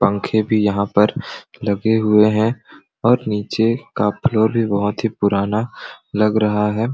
पंखे भी यहाँ पर लगे हुए हैं और नीचे का फ्लोर भी बहुत ही पुराना लग रहा है।